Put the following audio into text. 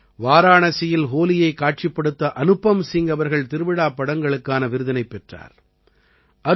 வாராணசியில் ஹோலியைக் காட்சிப்படுத்த அனுபம் சிங் அவர்கள் திருவிழாப் படங்களுக்கான விருதினைப் பெற்றார்